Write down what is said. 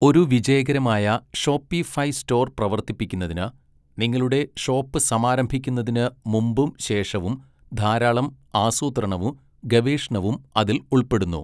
ഒരു വിജയകരമായ Shopify store പ്രവർത്തിപ്പിക്കുന്നതിന്, നിങ്ങളുടെ ഷോപ്പ് സമാരംഭിക്കുന്നതിന് മുമ്പും ശേഷവും ധാരാളം ആസൂത്രണവും ഗവേഷണവും അതിൽ ഉൾപ്പെടുന്നു.